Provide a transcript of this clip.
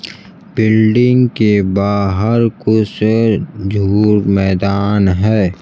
Building के बाहर कुछ से मैदान है।